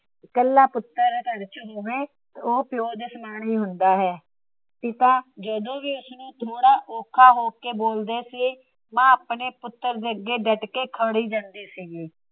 ਕੱਲਾ ਪੁੱਤਰ ਘਰ ਚ ਹੋਵੇ ਉਹ ਪਿਓ ਦੇ ਸਮਾਨ ਹੀ ਹੁੰਦਾ ਹੈ । ਪਿਤਾ ਜਦੋ ਵੀ ਉਸਨੂੰ ਥੋੜਾ ਔਖਾ ਹੋ ਕੇ ਬੋਲਦੇ ਸੀ। ਮਾਂ ਆਪਣੇ ਪੁੱਤਰ ਦੇ ਅੱਗੇ ਡਟ ਕੇ ਖੜ ਜਾਂਦੀ ਸੀਗੀ ।